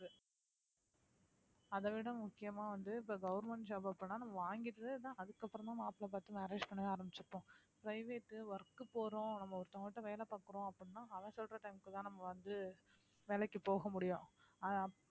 அதைவிட முக்கியமா வந்து இப்ப government job பண்ணா வாங்கிட்டு தான் அதுக்கு அப்புறமா மாப்பிளை பார்த்து marriage பண்ணவே ஆரம்பிச்சிருப்போம் private work போறோம் நம்ம ஒருத்தவங்ககிட்ட வேலை பார்க்கிறோம் அப்படின்னா அவன் சொல்ற time க்குதான் நம்ம வந்து வேலைக்கு போக முடியும் அதான்